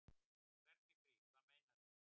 Hvernig frí. hvað meinarðu?